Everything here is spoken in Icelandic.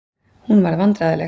Hún varð vandræðaleg.